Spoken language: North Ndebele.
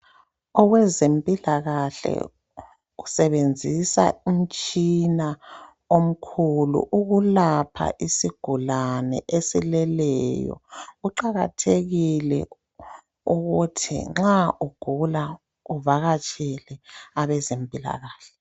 Owezimpila kahle usebenzisa umtshina omikhulu ukulapha isigulane esileleyo, kuqakathekile ukuthi nxa ugula uvakatshele abezempila kahle.